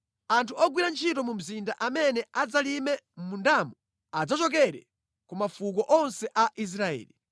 Anthu ogwira ntchito mu mzinda amene adzalime mʼmundamo adzachokera ku mafuko onse a Israeli.